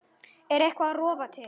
Er eitthvað að rofa til?